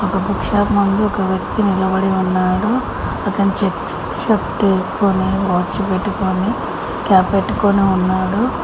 ఆ book shop ముందు ఒక వ్యక్తి నిలబడి ఉన్నాడు అతను చెక్స్ షర్ట్ వేసుకొని వాచ్ పెట్టుకొని క్యాప్ పెట్టుకొని ఉన్నాడు.